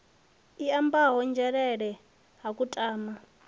i ambiwaho nzhelele ha kutama